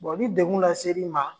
ni dekun laseri ma?